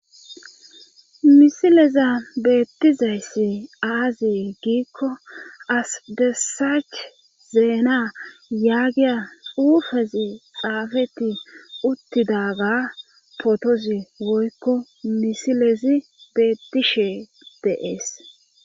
misileza beettizayssi aazee giikko asdessaach zeena yaagiya uufezi xaafeti uttidaga potozi woykko misilezi beettishe dee'es